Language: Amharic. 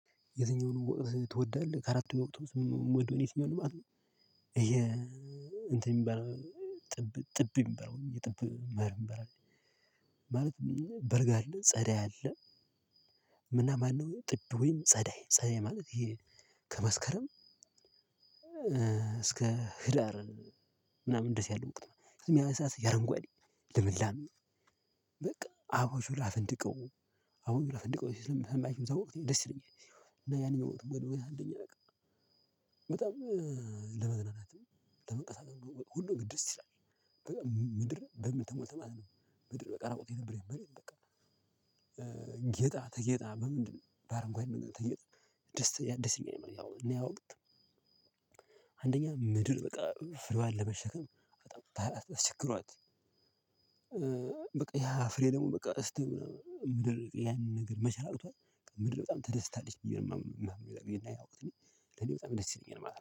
የትኛውን ትወዳለህ ከአራት ወቅቶች ወይ የትኛውን ማለት ነው? ይሄ እንትን የሚባለው ጥብ የሚባለው የጥብ መኀር ማለት በልግ አለ ጸደይ አለ። ምናምን ነው ጥብ ወይም ጸዳይ ጸዳይ ማለት ከመስከረም እስከ ህዳር ምናምን ደስ ያለው እንቁት ነው የሚያመሳስ ያረንጓዴ ልምላም ነው። አቡን ሽላ ፍንድቀው አቡን ሽላ ፍንድቀው የሚሰማችሁት ደስ ይለኛል። እና ያንን ወጥ ሞት ወደ ወይታ አንደኛ በቃ። በጣም ለመዝናናትም ለመንቀሳቀስ ሁሉም ግድር ሲል አለኝ። ምድር በምል ተሞልተህ ማለት ነው ምድር በቃ ራቁጥ የነበረኝ በሬ በቃ። ጌጣ ተጌጣ በምንድነው? ባረንጓዴ ተጌጣ ከመስከረም እስከ ህዳር ምናምን ደስ ያለው እንቁት ነው የሚያመሳስ ያረንጓዴ ልምላም ነው አቡን ሽላ ፍንድቀው አቡን ሽላ ፍንድቀው የሚሰማችሁት ደስ ይለኛል። እና ያንን ወቅት ሞት ወደ ወይታ አንደኛ። በቃ አንደኛ ምድር በቃ ፍሬዋን ለምሸከም በጣም አስቸግሯት በቃ ያፍሬ ደግሞ ምድር ያንን ነገር መቻል አቅቷት ምድር በጣም ተደስታለች ብዬ ነው የማምን። እና እኔ በጣም ነው ደስ የሚለኝ